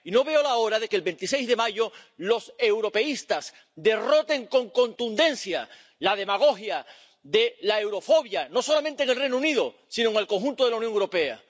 Y no veo la hora de que el 26 de mayo los europeístas derroten con contundencia la demagogia de la eurofobia, no solamente en el Reino Unido sino en el conjunto de la Unión Europea.